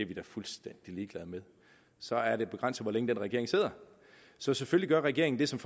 de da fuldstændig ligeglade med så er det begrænset hvor længe den regering sidder så selvfølgelig gør regeringen det som